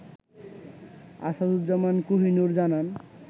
আসাদুজ্জামান কোহিনুর জানান